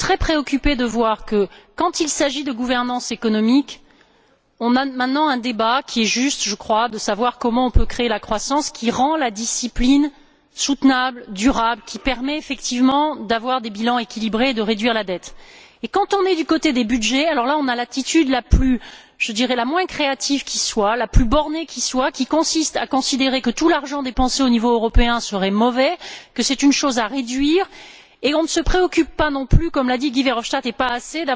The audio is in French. Je suis très préoccupée de voir que, quand il s'agit de gouvernance économique, on a maintenant un débat qui est juste, je crois, en vue de savoir comment on peut créer une croissance qui rende la discipline soutenable, durable, qui permette effectivement d'avoir des bilans équilibrés et de réduire la dette. Quand il s'agit des budgets, alors là, on a l'attitude la moins créative et la plus bornée qui soit, qui consiste à considérer que tout l'argent dépensé au niveau européen serait une mauvais chose, qu'il conviendrait de réduire. On ne se préoccupe pas non plus comme l'a dit Guy Verhofstadt ou pas assez,